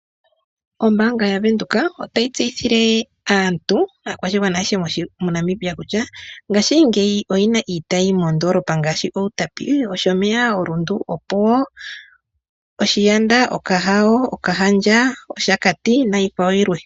Ombaanga yaVenduka otayi tseyithile aantu, aakwashigwana ayeshe moNamibia kutya ngaashingeyi oyina iitayi moondoolopa ngaashi, Outapi, Otyomeya, oRundu, Opuwo, Oshaanda, Okahao, Okahandja, Oshakati nayi kwawo yilwe.